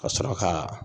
Ka sɔrɔ ka